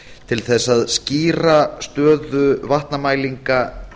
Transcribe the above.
til þess að skýra stöðu vatnamælinga